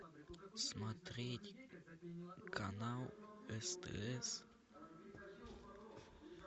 смотреть канал стс